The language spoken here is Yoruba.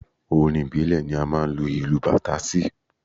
Orin ìbílẹ̀ ni a máa ń lu ìlù bàtà sí.